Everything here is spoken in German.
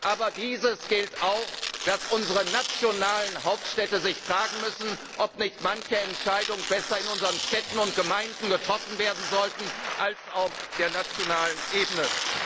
Aber es gilt auch, dass unsere nationalen Hauptstädte sich fragen müssen, ob nicht manche Entscheidungen in unseren Städten und Gemeinden getroffen werden sollten anstatt auf der nationalen Ebene.